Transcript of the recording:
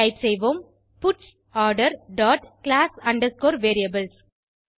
type செய்வோம் puts order dot class underscore variables